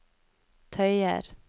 tøyer